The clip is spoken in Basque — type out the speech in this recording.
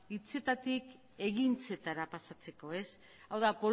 hitzetatik ekintzetara pasatzeko hau da